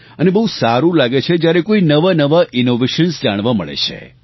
અને બહુ સારું લાગે છે જ્યારે કોઈ નવાનવા ઇનોવેશન્સ જાણવા મળે છે